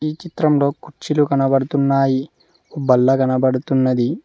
చిత్రంలో కుర్చీలు కనబడుతున్నాయి బల్ల కనబడుతున్నది.